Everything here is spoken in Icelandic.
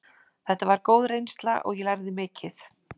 Þetta var góð reynsla og ég lærði mikið.